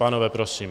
Pánové prosím.